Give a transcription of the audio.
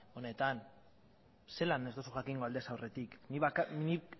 honetan zelan ez duzu jakingo aldez aurretik nik